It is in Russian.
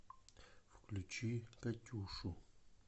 включи катюшу